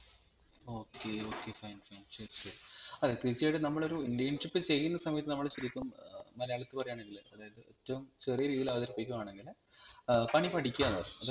okay okay fine fine അതെ തീർച്ചയായും നമ്മളൊരു internship ചെയ്യുന്ന സമയത്ത് നമ്മൾ ശരിക്കും മലയാളത്തിൽ പറയാണെങ്കിൽ അതായത് ഏറ്റവും ചെറിയ രീതിയിൽ അവതരിപികുകയാണെങ്കിൽ ഏർ പണി പഠിക്കുവാന്നുപറയും